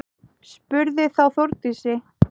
Spurði þá Þórdís: